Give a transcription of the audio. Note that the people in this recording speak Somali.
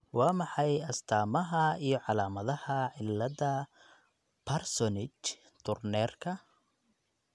Waa maxay astamaha iyo calaamadaha cilada Parsonage Turnerka?